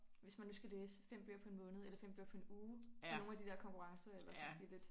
Hvis man nu skal læse 5 bøger på en måned eller 5 bøger på en uge for nogle af de der konkurrencer eller sådan de lidt